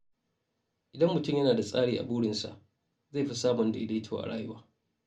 Idan mutum yana da tsari a burinsa, zai fi samun daidaito a rayuwa.